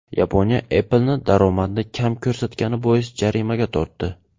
Yaponiya Apple’ni daromadni kam ko‘rsatgani bois jarimaga tortdi.